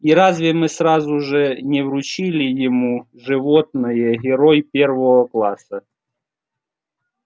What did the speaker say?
и разве мы сразу же не вручили ему животное герой первого класса